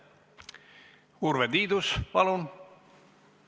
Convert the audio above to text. Urve Tiidus, palun!